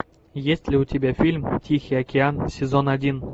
есть ли у тебя фильм тихий океан сезон один